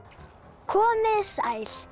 komið þið sæl